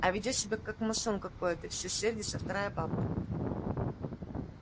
а ведёт себя как масон какой-то все сердится вторая бабка